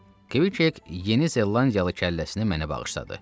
Kk yeni zellandiyalı kəlləsini mənə bağışladı.